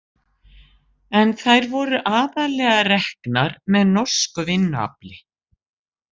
En þær voru aðallega reknar með norsku vinnuafli.